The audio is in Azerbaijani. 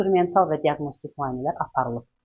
İnstrumental və diaqnostik müayinələr aparılıb.